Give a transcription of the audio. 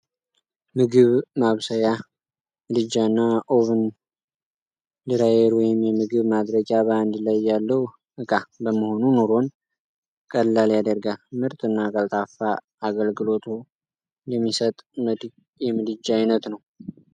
የምግብ ማብሰያ ምድጃ እና ኦቭን ድራየር ወይም የምግብ ማድረቂያ በአንድ ላይ ያለዉ እቃ በመሆኑ ኑሮን ቀላል ያደርጋል!። ምርጥ እና ቀልጣፋ አገልግሎቶ የሚሰጥ የምድጃ አይነት ነዉ።